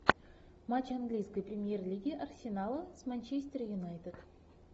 матч английской премьер лиги арсенала с манчестер юнайтед